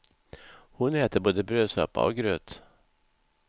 Hon äter både brödsoppa och gröt.